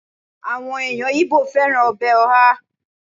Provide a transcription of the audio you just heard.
àwọn eyan ibo fẹràn obe oha